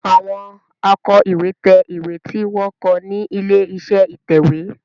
Àwọn Àkò ìwé tẹ̀ ìwé tí wón kọ ní ilé-iṣẹ́ ìtẹ̀wé.